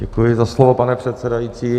Děkuji za slovo, pane předsedající.